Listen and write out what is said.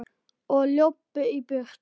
Og löbbuðu í burtu.